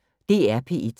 DR P1